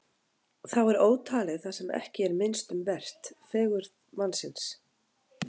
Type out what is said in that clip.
Þá er ótalið það sem ekki er minnst um vert: fegurð mannsins.